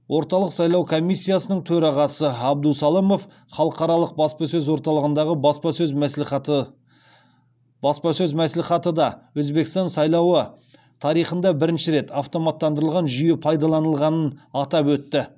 орталық сайлау комиссиясының төрағасы абдусалымов халықаралық баспасөз орталығындағы баспасөз мәслихатыда өзбекстан сайлауы тарихында бірінші рет автоматтандырылған жүйе пайдаланылғанын атап өтті